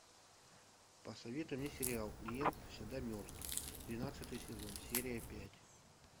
посоветуй мне сериал клиент всегда мертв двенадцатый сезон серия пять